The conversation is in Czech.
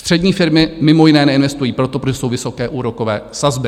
Střední firmy mimo jiné neinvestují, protože jsou vysoké úrokové sazby.